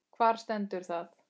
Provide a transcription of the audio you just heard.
Hvar stendur það?